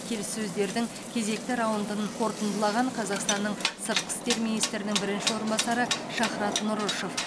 келіссөздердің кезекті раундын қорытындылаған қазақстанның сыртқы істер министрінің бірінші орынбасары шахрат нұрышев